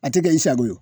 A tɛ kɛ i sago ye